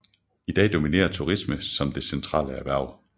I dag dominerer turisme som det centrale erhverv